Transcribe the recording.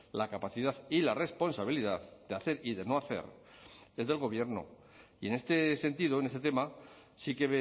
la capacidad y la responsabilidad de hacer y de no hacer es del gobierno y en este sentido en este tema sí que